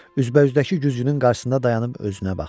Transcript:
Üzbəüzdəki güzgünün qarşısında dayanıb özünə baxdı.